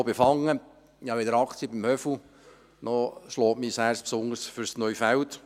Ich besitze weder Aktien am «Höfu», noch schlägt mein Herz besonders fürs Neufeld.